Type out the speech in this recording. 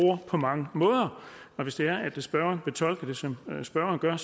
ord på mange måder og hvis det er at spørgeren fortolker det som spørgeren gør